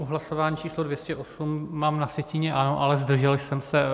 U hlasování číslo 208 mám na sjetině ano, ale zdržel jsem se.